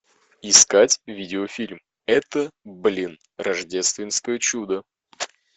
искать видео фильм это блин рождественское чудо